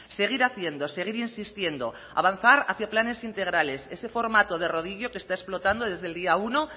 seguir haciendo seguir insistiendo avanzar hacia planes integrales ese formato de rodillo que está explotando desde el día uno